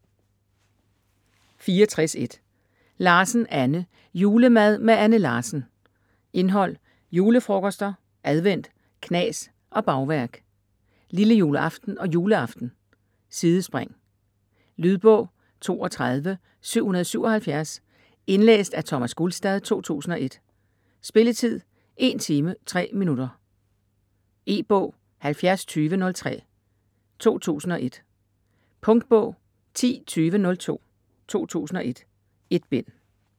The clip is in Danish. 64.1 Larsen, Anne: Julemad med Anne Larsen Indhold: Julefrokoster, advent, knas og bagværk; Lillejuleaften og juleaften; Sidespring. Lydbog 32777 Indlæst af Thomas Gulstad, 2001. Spilletid: 1 timer, 3 minutter. E-bog 702003 2001. Punktbog 102002 2001. 1 bind.